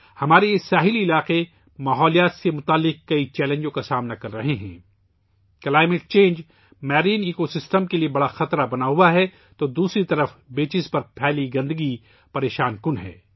ہمارے یہ ساحلی علاقے بہت سے ماحولیاتی چیلنجز کا سامنا کر رہے ہیں، آب و ہوا میں تبدیلی ، سمندری ماحولیاتی نظام کے لئے ایک بڑا خطرہ بنی ہوئی ہے تو دوسری طرف ہمارے ساحلوں پر موجود گندگی پریشان کن ہے